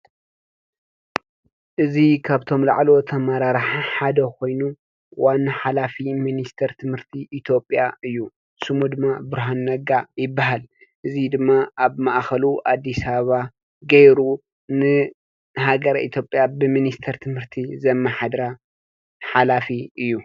እዚ ካብቶም ላዕለዎት አመራርሓ ሓደ ኮይኑ ዋና ሓላፊ ሚኒስተር ትምህርቲ ኢትዮጵያ እዩ። ሽሙ ድማ ብርሃኑ ነጋ ይበሃል። እዙይ ድማ አብ ማእኸሉ አዲስ አበባ ገይሩ ንሃገረ ኢትዮጵያ ብሚኒስተር ትምህርቲ ዘመሓድራ ሓላፊ እዩ።